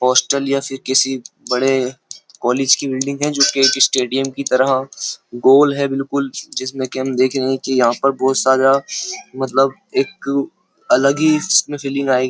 Hostel या फिर किसी बड़े कॉलेज की बिल्डिंग है जो कि एक स्टेडियम की तरह गोल है बिल्कुल जिसमें कि हम देख रहे हैं कि यहां पर बहुत सारा मतलब एक अलग ही इसमें फीलिंग आएगी।